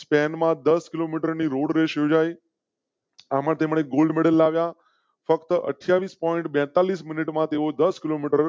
Spain માં દસ kilometre road race યોજાઈ. અહમદ તેમને ગોલ્ડ મેડલ લાગ્યા ફક્ત અઠ્યા વીસ point બેતાલીસ મિનિટમાં તેવો દસ કિલોમીટર